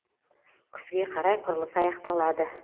күзге қарай құрылыс аяқталады